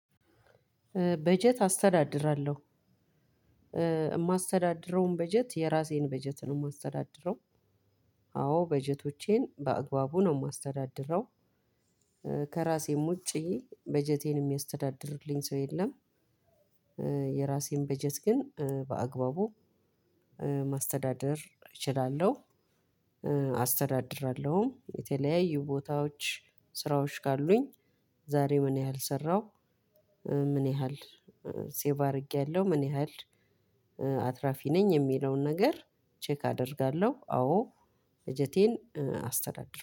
በጀት አስተዳድራለሁ። ማስተዳድረውን በጀት የራሴን በጀት ነው የማስተዳድረው። አዎ በጀቶቼን በአግባቡ ነው የማስተዳድረው። ከራሴም ውጪ በጀቴን የሚያስተዳድርልኝ ሰው የለም። የራሴን በጀት ግን በአግባቡ ማስተዳደር እችላለሁ። አስተዳድራለሁ። የተለያዩ ቦታዎች ስራዎች ካሉኝ ዛሬ ምን ያህል ሰራሁ? ምን ያህል ሴቭ አድርጌያለሁ? ምን ያህል አትራፊ ነኝ? የሚለውን ነገር ቼክ አደርጋለሁ። አዎ በጀቴን አስተዳድራለሁ።